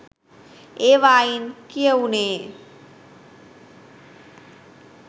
ඒවායින් කියවුනේ